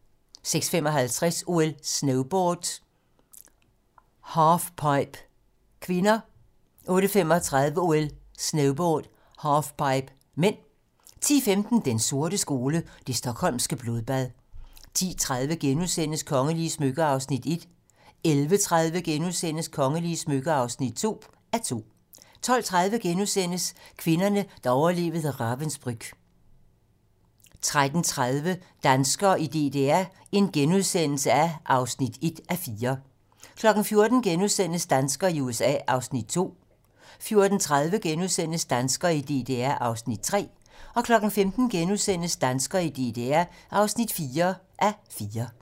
06:55: OL: Snowboard - halfpipe (k) 08:35: OL: Snowboard - halfpipe (m) 10:15: Den sorte skole: Det Stockholmske Blodbad 10:30: Kongelige smykker (1:2)* 11:30: Kongelige smykker (2:2)* 12:30: Kvinderne, der overlevede Ravensbrück * 13:30: Danskere i DDR (1:4)* 14:00: Danskere i DDR (2:4)* 14:30: Danskere i DDR (3:4)* 15:00: Danskere i DDR (4:4)*